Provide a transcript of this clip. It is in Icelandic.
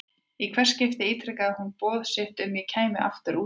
Í hvert skipti ítrekaði hún boð sitt um að ég kæmi aftur út til hennar.